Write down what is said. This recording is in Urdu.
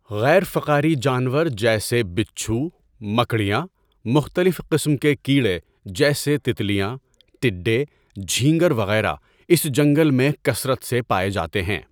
غیر فقاری جانور جیسے بچھو، مکڑیاں، مختلف قسم کے کیڑے جیسے تتلیاں، ٹڈے، جھینگر، وغیرہ اس جنگل میں کثرت سے پائے جاتے ہیں۔